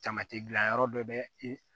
Tamati gilan yɔrɔ dɔ bɛ ye